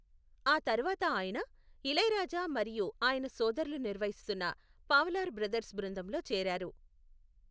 ఆ తర్వాత ఆయన, ఇళయరాజా మరియు ఆయన సోదరులు నిర్వహిస్తున్న పావలార్ బ్రదర్స్ బృందంలో చేరారు.